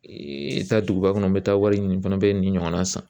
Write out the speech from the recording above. taa duguba kɔnɔ n bɛ taa wari ɲini n fana bɛ nin ɲɔgɔnna san